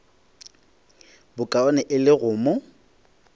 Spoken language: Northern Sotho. bokaone e le go mo